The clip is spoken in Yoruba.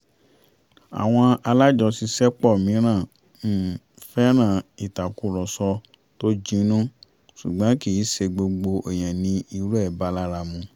awọn alájọṣiṣẹ́pọ̀ mìíràn um fẹ́ràn ìtàkùrọ̀sọ tó jinnú ṣùgbọ́n kì í ṣe gbogbo èèyàn ni irú ẹ̀ bá lára mu